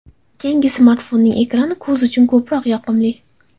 Keyingi smartfonning ekrani ko‘z uchun ko‘proq yoqimli.